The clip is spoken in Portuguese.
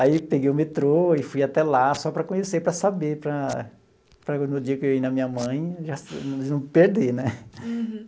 Aí peguei o metrô e fui até lá só para conhecer, para saber, para para no dia que eu ir na minha mãe, não perder, né?